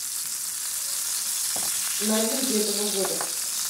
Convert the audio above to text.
новинки этого года